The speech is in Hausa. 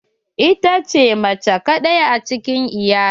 Ita ce mace kadai cikin iyalin.